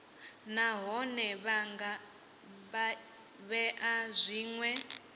nahone vha nga vhea zwinwe